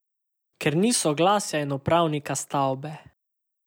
Ker ni soglasja in upravnika stavbe.